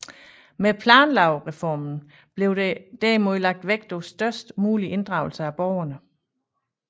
Med planlovreformen blev der derimod lagt vægt på størst mulig inddragelse af borgerne